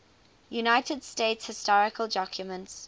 united states historical documents